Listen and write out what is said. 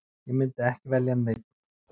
Ég myndi ekki velja neinn.